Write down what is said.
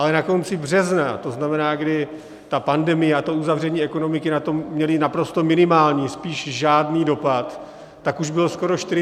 Ale na konci března, to znamená, kdy ta pandemie a to uzavření ekonomiky na to měly naprosto minimální, spíš žádný dopad, tak už bylo skoro 45 miliard.